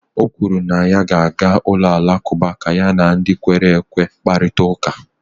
o kwuru na ya ga-aga ụlọ alakụba ka ya na ndị kwere ekwe kparịta ụka